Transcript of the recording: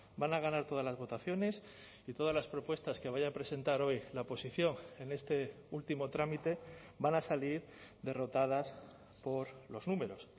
van a ganar todas las votaciones y todas las propuestas que vaya a presentar hoy la oposición en este último trámite van a salir derrotadas por los números